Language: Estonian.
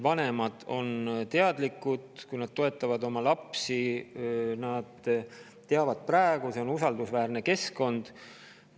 Vanemad on teadlikud, kui nad toetavad oma lapsi, et see on usaldusväärne keskkond.